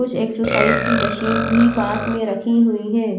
कुछ एक्सरसाइज की मशीन भी पास में रखी हुईं हैं।